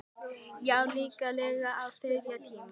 Já, líklega á þriðja tíma.